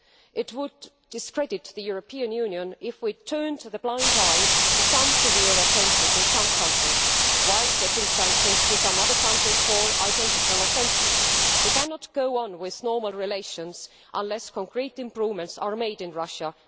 It would discredit the European Union if we turned a blind eye to some severe offences in some countries, while imposing sanctions on other countries for identical offences. We cannot continue normal relations unless concrete improvements are made in Russia.